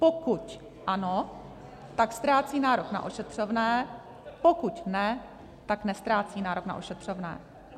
Pokud ano, tak ztrácí nárok na ošetřovné, pokud ne, tak neztrácí nárok na ošetřovné.